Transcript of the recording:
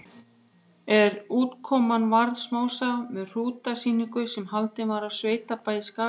En útkoman varð smásaga um hrútasýningu sem haldin var á sveitabæ í Skagafirði.